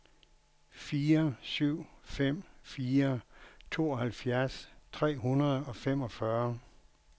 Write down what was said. fire syv fem fire tooghalvfems tre hundrede og femogfyrre